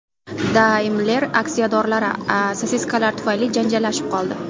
Daimler aksiyadorlari sosiskalar tufayli janjallashib qoldi.